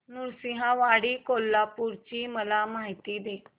नृसिंहवाडी कोल्हापूर ची मला माहिती दे